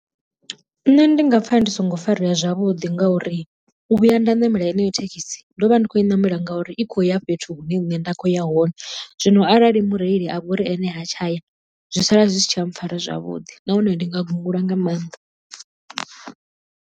Nṋe ndi nga pfha ndi songo farea zwavhuḓi ngauri u vhuya nda ṋamela heneyo thekhisi ndo vha ndi khou i ṋamela ngauri i khou ya fhethu hune nṋe nda khou ya hone, zwino arali mureili a vhori ene ha tshaya zwi sala zwi si tsha mpfhara zwavhuḓi nahone ndi nga gungula nga maanḓa.